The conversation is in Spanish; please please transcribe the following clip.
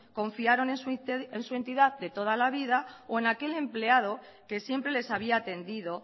confiaron en su entidad de toda la vida o en aquel empleado que siempre les había atendido